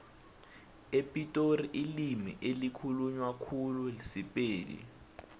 epitori ilimi elikhulunywa khulu sipedi